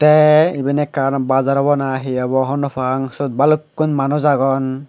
the iben ekkan bazar obo na he obo hobor nw pang sut bhalukkun manuj agon.